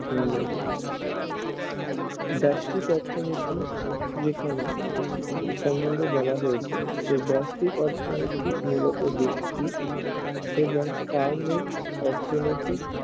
উন্নয়ন ব্যষ্টিক অর্থনীতি যেখানে সম্বন্ধে বলা হয়েছে সেই ব্যষ্টিক অর্থনীতি মূলত ব্যক্তি এবং ফার্মেজ অর্থনীতি